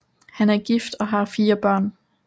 Han er gift og har fire børn